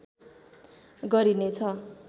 गरिने छ